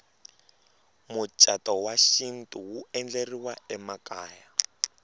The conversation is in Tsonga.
mucatu wa xintu wu endleriwa emakaya